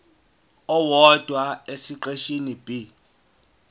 owodwa esiqeshini b